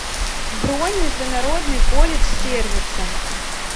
бронь международный колледж сервиса